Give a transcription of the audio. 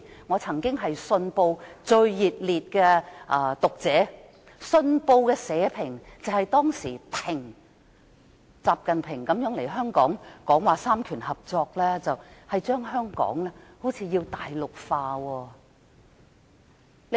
我曾是《信報》的忠實讀者，《信報》當時的社評表示，習近平來港談及三權合作，似乎想把香港大陸化。